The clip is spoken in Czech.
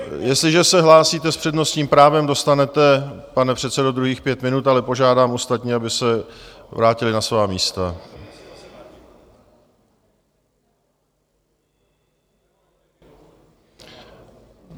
Jestliže se hlásíte s přednostním právem, dostanete, pane předsedo, druhých pět minut, ale požádám ostatní, aby se vrátili na svá místa.